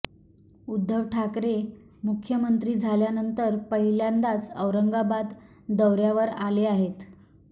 उद्धव ठाकरे मुख्यमंत्री झाल्यानंतर पहिल्यांदाच औरंगाबाद दौऱ्यावर आले आहेत